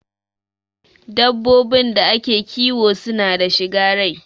Dabbobin da ake kiwo suna da shiga rai